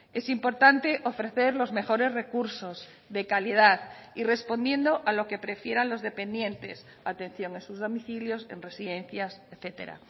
es importante ofrecer los mejores recursos de calidad y respondiendo a lo que prefieran los dependientes atención en sus domicilios en residencias etcétera